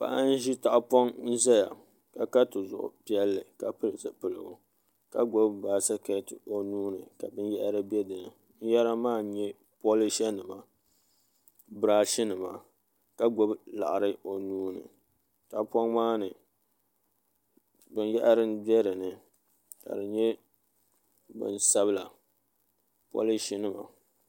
Paɣa n ʒi tahapoŋ ʒɛya ka ka tizuɣu piɛlli ka pili zipiligu ka gbubi baskɛti o nuuni ka binyahari bɛ dinni binyɛra maa n nyɛ polish nima birash nima ka gbubi laɣari o nuuni tahapoŋ maa ni binyahari n bɛ dinni ka di nyɛ bin sabila polish nima